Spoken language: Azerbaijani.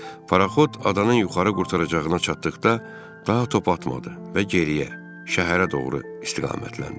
Paraxot adanın yuxarı qurtaracağına çatdıqda daha top atmadı və geriyə, şəhərə doğru istiqamətləndi.